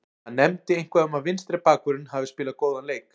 Hann nefndi eitthvað um að vinstri bakvörðurinn hafi spilað góðan leik.